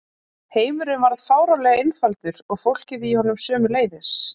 Heimurinn varð fáránlega einfaldur og fólkið í honum sömuleiðis.